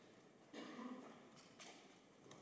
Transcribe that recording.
det